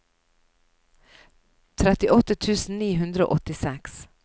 trettiåtte tusen ni hundre og åttiseks